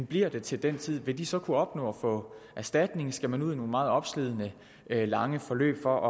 bliver det til den tid vil de så kunne opnå erstatning skal man ud i nogle meget opslidende lange forløb for